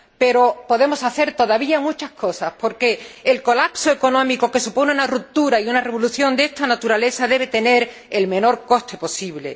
Pero podemos hacer todavía muchas cosas, porque el colapso económico que suponen una ruptura y una revolución de esta naturaleza debe tener el menor coste posible.